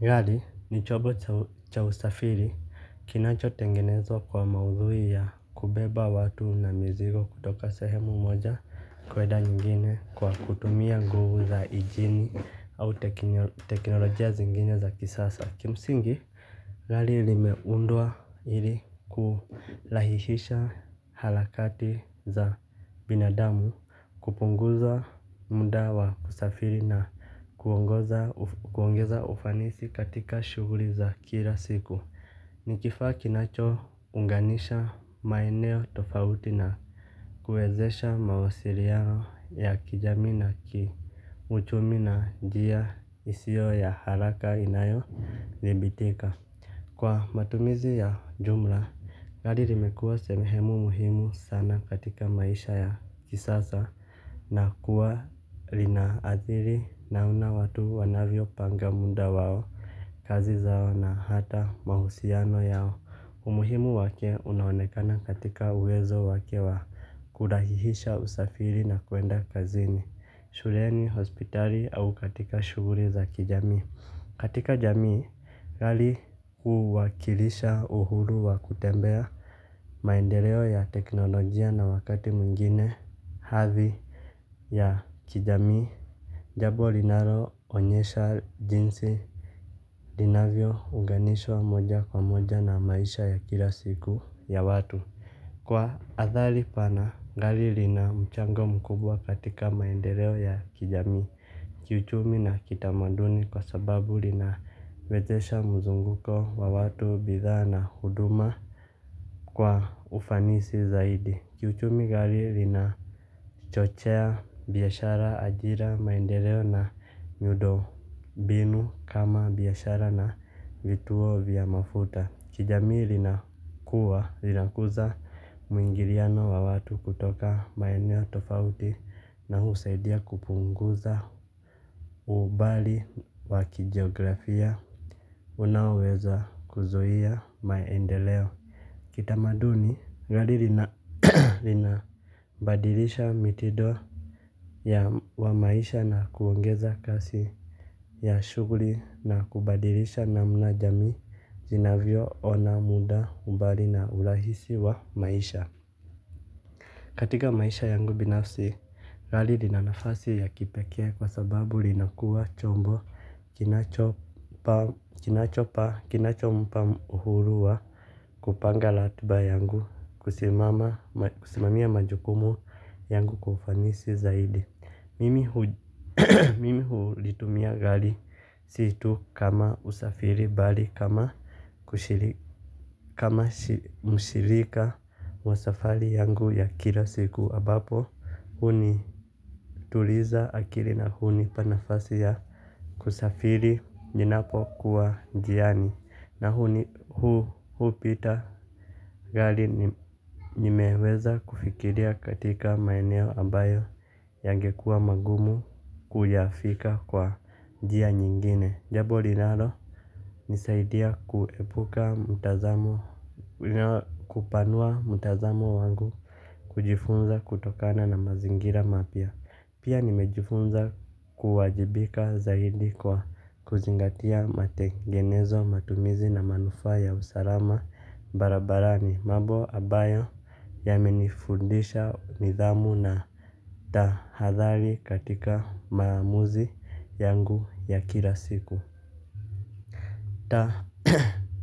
Gari ni chombo cha usafiri kinachotengenezwa kwa maudhui ya kubeba watu na mizigo kutoka sehemu moja kwenda nyingine kwa kutumia nguvu za injini au teknolojia zingine za kisasa. Kimsingi gari limeundwa ili kulahihisha harakati za binadamu kupunguza muda wa kusafiri na kuongeza ufanisi katika shughuli za kila siku. Ni kifaa kinachounganisha maeneo tofauti na kuwezesha mawasiliano ya kijami na kiuchumi na njia isiyo ya haraka inayodhibitika. Kwa matumizi ya jumla gari limekuwa sehemu muhimu sana katika maisha ya kisasa na kuwa linaadhiri namna watu wanavyopanga muda wao, kazi zao na hata mahusiano yao. Umuhimu wake unaonekana katika uwezo wake wa kurahisisha usafiri na kwenda kazini, shuleni, hospitali au katika shughuli za kijamii. Katika jamii gari huwakilisha uhuru wa kutembea maendeleo ya teknolojia na wakati mwingine hadhi ya kijamii. Jambo linaloonyesha jinsi linavyounganishwa moja kwa moja na maisha ya kila siku ya watu. Kwa athari pana, gari lina mchango mkubwa katika maendeleo ya kijamii. Kiuchumi na kitamaduni kwa sababu linawezesha mzunguko wa watu bidhaa na huduma kwa ufanisi zaidi. Kiuchumi gari lina chochea biashara ajira maendeleo na miundo mbinu kama biashara na vituo vya mafuta. Kijamii linakuza mwingiliano wa watu kutoka maeneo tofauti na husaidia kupunguza umbali wa kijografia. Unaoweza kuzuia maendeleo. Kitamaduni, gari linabadilisha mitindo wa maisha na kuongeza kasi ya shughuli na kubadilisha namna jamii zinavyoona muda umbali na urahisi wa maisha. Katika maisha yangu binafsi gari lina nafasi ya kipekee kwa sababu linakuwa chombo kinachompa uhuru wa kupanga ratiba yangu, kusimamia majukumu yangu kwa ufanisi zaidi. Mimi hulitumia gari si tu kama usafiri bali kama mshirika wa safari yangu ya kila siku ambapo hunituliza akili na hunipa nafasi ya kusafiri ninapokuwa njiani. Na hupita gari nimeweza kufikiria katika maeneo ambayo yangekuwa magumu kuyafika kwa njia nyingine. Jambo linalonisaidia kuepuka mtazamo kupanua mtazamo wangu kujifunza kutokana na mazingira mapya. Pia nimejifunza kuwajibika zaidi kwa kuzingatia matengenezo matumizi na manufaa ya usalama barabarani mambo ambayo yamenifundisha nidhamu na tahadhari katika maamuzi yangu ya kila siku.